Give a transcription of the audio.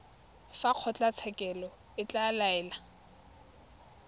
fa kgotlatshekelo e ka laela